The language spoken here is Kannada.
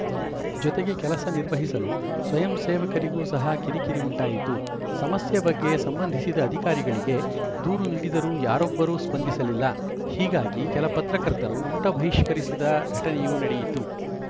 ಜೊತೆಗೆ ಕೆಲಸ ನಿರ್ವಹಿಸಲು ಸ್ವಯಂ ಸೇವಕರಿಗೂ ಸಹ ಕಿರಿಕಿರಿ ಉಂಟಾಯಿತು ಸಮಸ್ಯೆ ಬಗ್ಗೆ ಸಂಬಂಧಿಸಿದ ಅಧಿಕಾರಿಗಳಿಗೆ ದೂರು ನೀಡಿದರೂ ಯಾರೊಬ್ಬರೂ ಸ್ಪಂದಿಸಲಿಲ್ಲ ಹೀಗಾಗಿ ಕೆಲ ಪತ್ರಕರ್ತರು ಊಟ ಬಹಿಷ್ಕರಿಸಿದ ಘಟನೆಯೂ ನಡೆಯಿತು